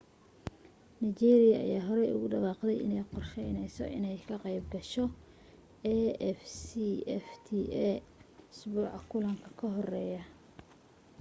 nigeria ayaa horey ugu dhawaaqday inay qorsheyneyso inay ka qayb gasho afcfta isbuuca kulanka ka horeeyey